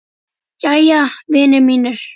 Jæja, vinir mínir.